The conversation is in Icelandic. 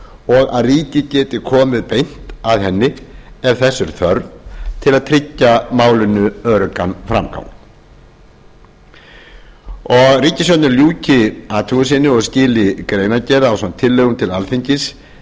og að ríkið geti komið beint að henni ef þess er þörf til að tryggja málinu öruggan framgang ríkisstjórnin ljúki athugun sinni og skili greinargerð ásamt tillögum til alþingis